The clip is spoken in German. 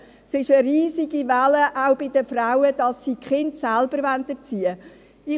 Es gibt eine riesige Bewegung, auch von Frauen, die die Kinder selber erziehen wollen.